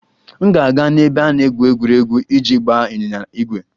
M ga-aga n'ebe a na-egwu egwuregwu iji gbaa ịnyịnya ígwè.